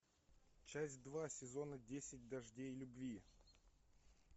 часть два сезона десять дождей любви